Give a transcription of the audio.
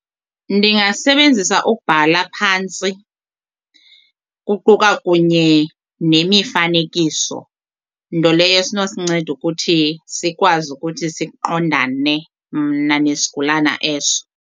Ndingasebenzisa ukubhala phantsi kuquka kunye nemifanekiso nto leyo esinosinceda ukuthi sikwazi ukuthi siqondane mna nesigulana eso.